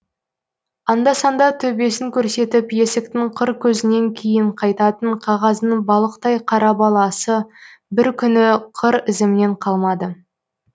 анда санда төбесін көрсетіп есіктің қыр көзінен кейін қайтатын қағаздың балықтай қара баласы бір күні қыр ізімнен қалмады